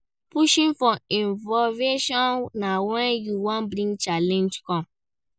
Pushing for innovation na when you wan bring change come